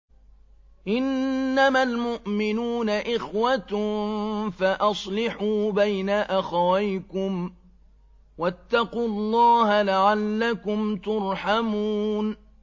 إِنَّمَا الْمُؤْمِنُونَ إِخْوَةٌ فَأَصْلِحُوا بَيْنَ أَخَوَيْكُمْ ۚ وَاتَّقُوا اللَّهَ لَعَلَّكُمْ تُرْحَمُونَ